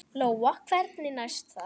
Lóa: Hvernig næst það?